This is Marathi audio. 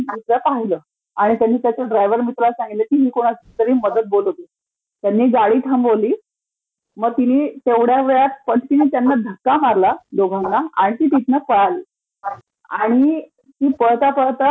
तिला पाहिलं. आणि त्याने त्याच्या ड्रायटव्हर मित्राला सांगितलं की तिने कोणाला तरी मदत बोलावतेय, त्यानी गाडी थांबवली. मग तिनी तेवढ्या वेळात पटकिनी त्यांना धक्का मारला, दोघांना आणि ती तिथंन पळाली. आणि ती पळता पळता